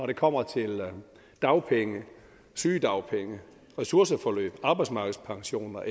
det kommer til dagpenge sygedagpenge ressourceforløb arbejdsmarkedspension og